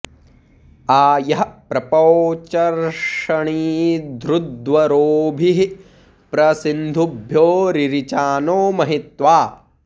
आ यः प॒प्रौ च॑र्षणी॒धृद्वरो॑भिः॒ प्र सिन्धु॑भ्यो रिरिचा॒नो म॑हि॒त्वा